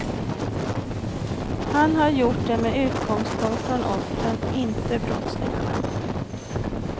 Han har gjort det med utgångspunkt från offren, inte brottslingarna.